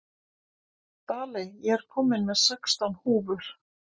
Daley, ég kom með sextán húfur!